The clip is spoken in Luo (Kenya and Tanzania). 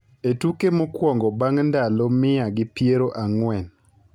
e tuke mokwongo bang’ ndalo mia gi piero ang'wen.